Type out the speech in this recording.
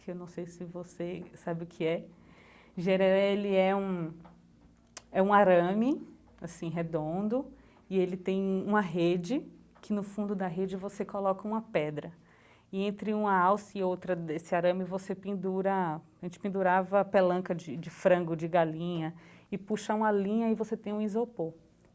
que eu não sei se você sabe o que é. Jereré ele é um é um arame, assim, redondo, e ele tem uma rede, que no fundo da rede você coloca uma pedra, e entre uma alça e outra desse arame você pendura, a gente pendurava a pelanca de de frango, de galinha, e puxa uma linha e você tem um isopor.